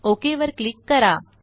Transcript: okay वर click करा